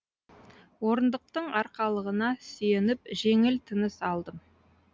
орындықтың арқалығына сүйеніп жеңіл тыныс алдым